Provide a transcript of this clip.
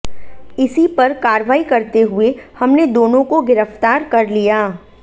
इसी पर कार्रवाई करते हुए हमने दोनों को गिरफ्तार कर लिया